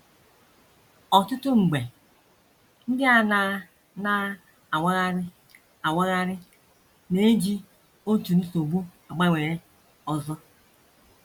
Ọtụtụ mgbe, ndị a na - na - awagharị awagharị na - eji otu nsogbu agbanwere ọzọ.